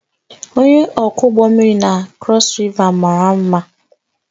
Onye ọkwọ ụgbọ mmiri na Crossriver mara mma